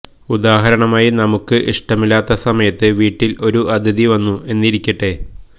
ഉദാഹരണമായി നമുക്ക് ഇഷ്ടമില്ലാത്ത സമയത്ത് വീട്ടില് ഒരു അതിഥി വന്നു എന്നിരിക്കട്ടെ